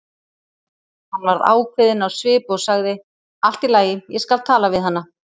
Hann varð ákveðinn á svip og sagði: Allt í lagi, ég skal tala við hana